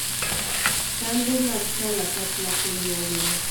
Kambe mag kalapapla piny mangima